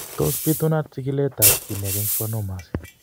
Tos bitunat chikiletab keneyeek en schwannomas?